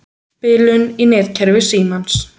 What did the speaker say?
Bilun í netkerfi Símans